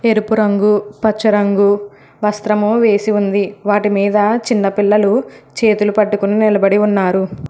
ఎరుపు రంగు పచ్చ రంగు వస్త్రము వేసి ఉంది వాటి మీద చిన్న పిల్లలు చేతులు పట్టుకుని నిలబడి ఉన్నారు.